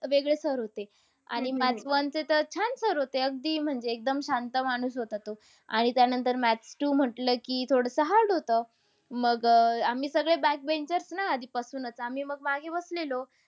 वेगळे sir होते. हम्म आणि maths one चे तर छान sir होते. अगदी म्हणजे एकदम शांत माणूस होता तो. आणि त्यानंतर maths two म्हटलं की थोडंसं hard होतं. मग अह आम्ही सगळे back benchers ना आधीपासूनच मग आम्ही मागे बसलेलो.